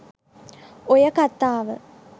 ඔය කතාව